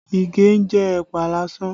Ige ń jẹ ẹ̀pà lásán